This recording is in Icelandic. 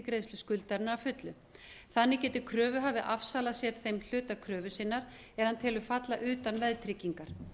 greiðslu skuldarinnar að fullu þannig geti kröfuhafi afsalað sér þeim hluta kröfu sinnar er hann telur falla utan veðtryggingar